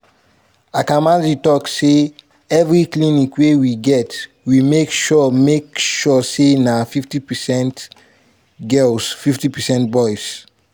akamanzi tok say "evri clinic wey we get we make sure make sure say na 50 percent girls 50 percent boys.